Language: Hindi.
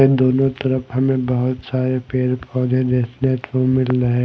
इन दोनों तरफ हमें बहुत सारे पेड़ पौधे देखने को मिल रहे।